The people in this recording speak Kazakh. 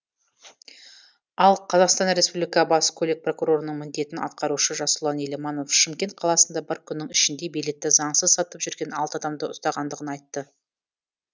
ал қазақстан республика бас көлік прокурорының міндетін атқарушы жасұлан еламанов шымкент қаласында бір күннің ішінде билетті заңсыз сатып жүрген алты адамды ұстағандығын айтты